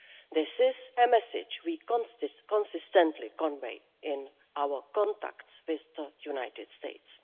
This is a message we consistently convey in our contacts with the United States.